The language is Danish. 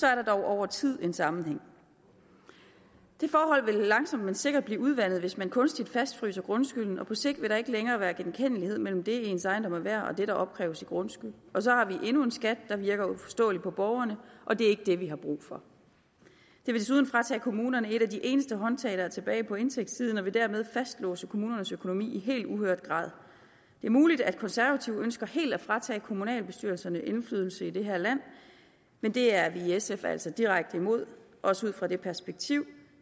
er der dog over tid en sammenhæng de forhold vil langsomt men sikkert blive udvandet hvis man kunstigt fastfryser grundskylden og på sigt vil der ikke længere være genkendelighed mellem det ens ejendom er værd og det der opkræves i grundskyld og så har vi endnu en skat der virker uforståelig for borgerne og det er ikke det vi har brug for det vil desuden fratage kommunerne et af de eneste håndtag der er tilbage på indtægtssiden og vil dermed fastlåse kommunernes økonomi i helt uhørt grad det er muligt at konservative ønsker helt at fratage kommunalbestyrelserne indflydelse i det her land men det er vi i sf altså direkte imod også ud fra det perspektiv